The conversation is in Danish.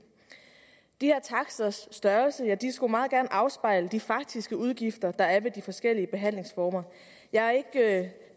de her taksters størrelse skulle meget gerne afspejle de faktiske udgifter der er ved de forskellige behandlingsformer jeg er ikke